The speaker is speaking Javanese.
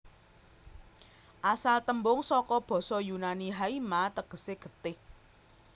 Asal tembung saka basa Yunani haima tegesé getih